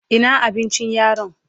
Ina abincin yaron?